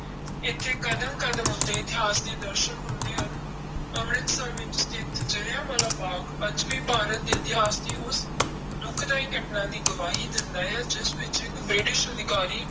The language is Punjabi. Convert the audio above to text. ਇੱਥੇ ਕਦਮ ਕਦਮ ਉੱਤੇ ਇਤਿਹਾਸ ਦੇ ਦਰਸਨ ਹੁੰਦੇ ਹਨ, ਅੰਮ੍ਰਿਤਸਰ ਵਿੱਚ ਸਥਿੱਤ ਜ਼ਿਲ੍ਹਿਆਂ ਵਾਲਾ ਬਾਗ਼ ਅੱਜ ਵੀ ਭਾਰਤ ਦੇ ਇਤਿਹਾਸ ਦੀ ਉਸ ਦੁਖਦਾਈ ਘਟਨਾ ਦੀ ਗਵਾਹੀ ਦਿੰਦਾ ਹੈ, ਜਿਸ ਵਿੱਚ ਇੱਕ ਬ੍ਰਿਟਿਸ਼ ਅਧਿਕਾਰੀ